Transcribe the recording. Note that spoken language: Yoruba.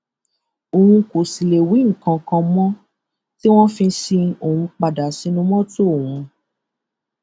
òun kò sì lè wí nǹkan kan mọ tí wọn fi sin òun padà sínú mọtò òun